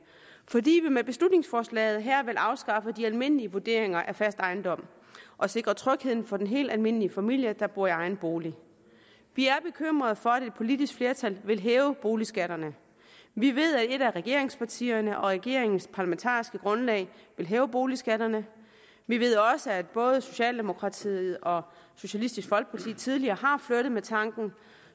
fordi vi med beslutningsforslaget her vil afskaffe de almindelige vurderinger af fast ejendom og sikre trygheden for den helt almindelige familie der bor i egen bolig vi er bekymrede for at et politisk flertal vil hæve boligskatterne vi ved at et af regeringspartierne og regeringens parlamentariske grundlag vil hæve boligskatterne vi ved også at både socialdemokratiet og socialistisk folkeparti tidligere har flirtet med tanken